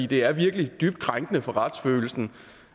det er virkelig dybt krænkende for retsfølelsen